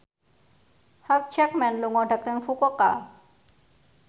Hugh Jackman lunga dhateng Fukuoka